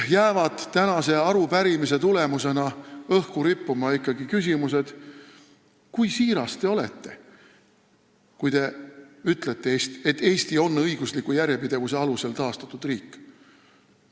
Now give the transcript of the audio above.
Pärast tänast arupärimist jääb õhku küsimus, kui siiras te olete, kui te ütlete, et Eesti on õigusliku järjepidevuse alusel taastatud riik.